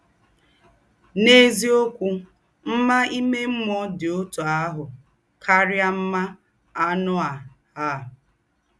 N’èzí̄ǒkwụ́, mmá ìmè mmụ́ọ́ dị́ ọ̌tụ̣ àhụ́ kárí̄ mmá ànụ́ á. á.